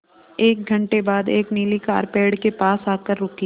एक घण्टे बाद एक नीली कार पेड़ के पास आकर रुकी